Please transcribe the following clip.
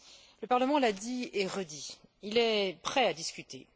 Le Parlement l'a dit et redit il est prêt à discuter.